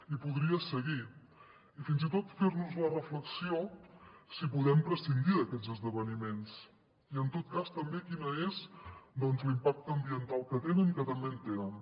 i podria seguir i fins i tot fer nos la reflexió si podem prescindir d’aquests esdeveniments i en tot cas també quin és doncs l’impacte ambiental que tenen que també en tenen